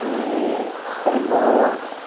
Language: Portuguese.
E você tem irmãos?